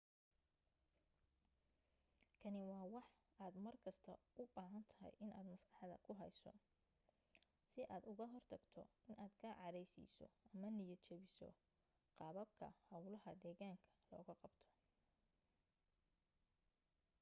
kani waa wax aad mar kasta u baahan tahay inaad maskaxda ku hayso si aad uga hortagto inaad ka caraysiiso ama niyad jabiso qaababka hawlaha deegaanka looga qabto